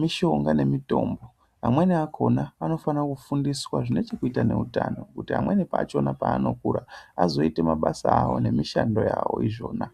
mishonga nemitombo. Amweni akhona unofane kufundiswa zvine chekuita neutano nekuti pamweni pachona paanokura azoite mabasa awo nemishando yawo izvona.